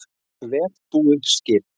Vel búið skip